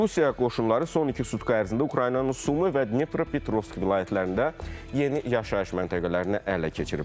Rusiya qoşunları son iki sutka ərzində Ukraynanın Sumı və Dnepropetrovsk vilayətlərində yeni yaşayış məntəqələrini ələ keçiriblər.